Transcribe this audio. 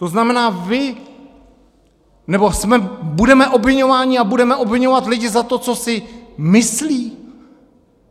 To znamená, vy - nebo budeme obviňováni a budeme obviňovat lidi za to, co si myslí?